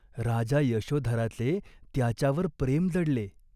राजा यशोधराचे त्याच्यावर प्रेम जडले.